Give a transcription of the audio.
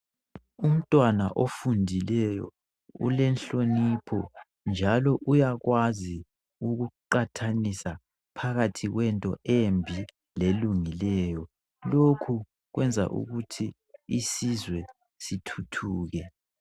Umntwana ofundileyo ulenhlonipho njalo uyakwazi ukuqathanisa phakathi kwento embi lelungileyo lokhu kwenza ukuthi isizwe sithuthuke